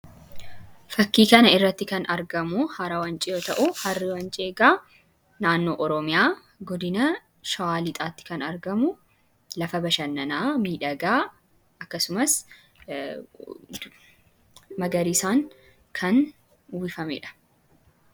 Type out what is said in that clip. Fakkii kana irratti kan argamu Hara Wancii yoo ta'u, Harri Wancii egaa naannoo Oromiyaa godina Shawaa Lixaatti kan argamu lafa bashannanaa miidhagaa akkasumas magariisaan kan uwwifame dha.